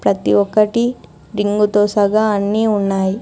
ఇది ఒకటి టింగ్ తో సగా అన్నీ ఉన్నాయి.